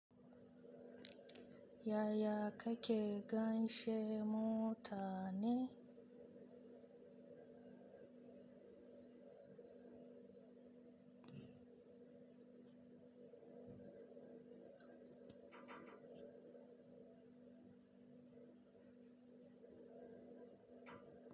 Yaya kake ganshe mota ne?